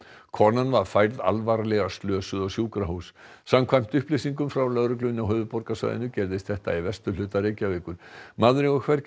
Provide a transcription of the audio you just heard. konan var færð alvarlega slösuð á sjúkrahús samkvæmt upplýsingum frá lögreglunni á höfuðborgarsvæðinu gerðist þetta í vesturhluta Reykjavíkur maðurinn var hvergi